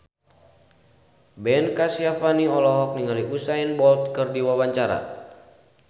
Ben Kasyafani olohok ningali Usain Bolt keur diwawancara